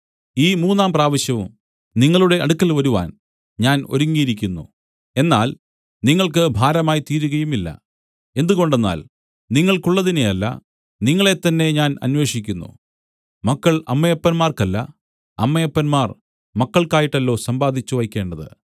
ഈ മൂന്നാം പ്രാവശ്യവും നിങ്ങളുടെ അടുക്കൽ വരുവാൻ ഞാൻ ഒരുങ്ങിയിരിക്കുന്നു എന്നാൽ നിങ്ങൾക്ക് ഭാരമായിത്തീരുകയുമില്ല എന്തുകൊണ്ടെന്നാൽ നിങ്ങൾക്കുള്ളതിനെയല്ല നിങ്ങളെത്തന്നെ ഞാൻ അന്വേഷിക്കുന്നു മക്കൾ അമ്മയപ്പന്മാർക്കല്ല അമ്മയപ്പന്മാർ മക്കൾക്കായിട്ടല്ലോ സമ്പാദിച്ചുവയ്ക്കേണ്ടത്